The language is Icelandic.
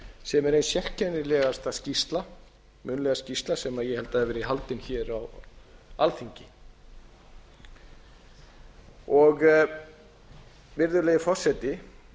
sem er ein sérkennilegasta munnlega skýrsla sem ég held að hafi verið gefin hér á alþingi virðulegi forseti